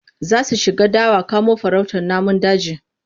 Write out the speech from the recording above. Za su shiga dawa kamo farautar namun daji.